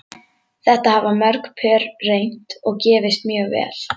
Þetta hafa mörg pör reynt og gefist mjög vel.